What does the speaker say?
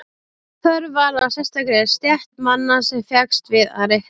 Þörf varð á sérstakri stétt manna sem fékkst við að reikna.